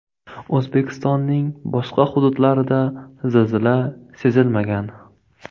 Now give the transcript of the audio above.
O‘zbekistonning boshqa hududlarida zilzila sezilmagan.